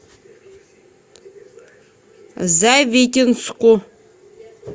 завитинску